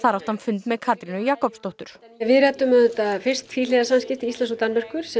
átti fund með Katrínu Jakobsdóttur við ræddum auðvitað fyrst tvíhliða samskipti Íslands og Danmerkur sem